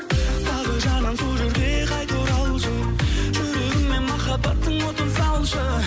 бағы жанған сол жерге қайта оралшы жүрегіме махаббаттың отын салшы